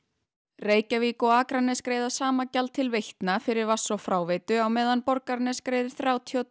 Reykjavík og Akranes greiða sama gjald til Veitna fyrir vatns og fráveitu á meðan Borgarnes greiðir þrjátíu og